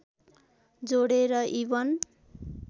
जोडेर इबन